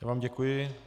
Já vám děkuji.